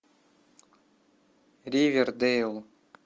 ривердейл